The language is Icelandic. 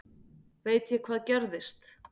Veit ég hvað gerðist?